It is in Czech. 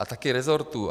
A také rezortů.